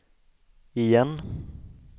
igen